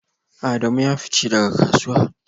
Adamu ya fice daga kasuwa